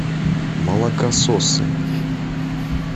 молокососы